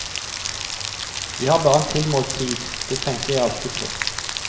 Vi har bare en tilmålt tid, det tenker jeg alltid på.